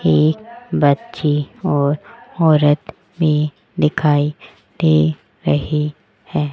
एक बच्ची और औरत भी दिखाई दे रही है।